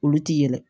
Olu ti yɛlɛ